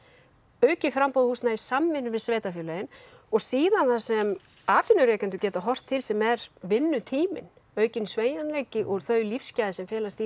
aukið framboð húsnæðis í samvinnu við sveitarfélögin og síðan það sem atvinnurekendur geta horft til sem er vinnutíminn aukinn sveigjanleiki og þau lífsgæði sem felast í